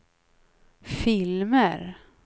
filmer